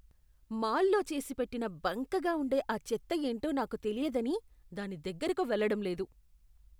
మాల్లో చేసిపెట్టిన బంకగా ఉండే ఆ చెత్త ఏంటో నాకు తెలియదని దాని దగ్గరకు వెళ్ళడం లేదు.